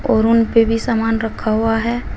और उन पे भी सामान रखा हुआ है।